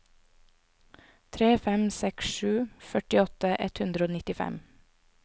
tre fem seks sju førtiåtte ett hundre og nittifem